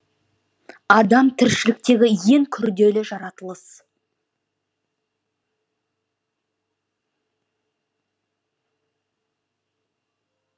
адам тіршіліктегі ең күрделі жаратылыс